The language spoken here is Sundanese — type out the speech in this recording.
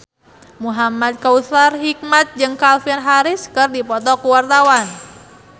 Muhamad Kautsar Hikmat jeung Calvin Harris keur dipoto ku wartawan